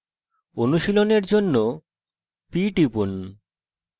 অনুশীলনের জন্য p টিপুন